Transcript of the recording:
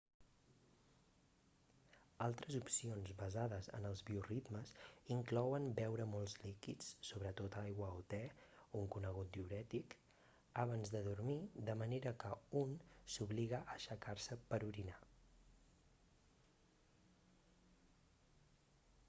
altres opcions basades en els bioritmes inclouen beure molts líquids sobretot aigua o te un conegut diürètic abans de dormir de manera que un s'obliga a aixecar-se per orinar